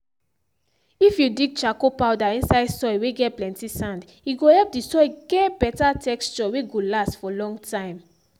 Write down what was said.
if you dig charcoal powder inside soil whey get plenty sand e go help the soil get better texture whey go last for long time